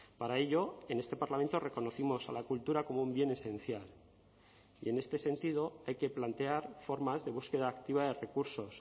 para ello en este parlamento reconocimos a la cultura como un bien esencial y en este sentido hay que plantear formas de búsqueda activa de recursos